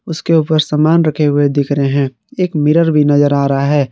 इसके ऊपर सामान रखे हुए दिख रहे हैं एक मिरर भी नजर आ रहा है।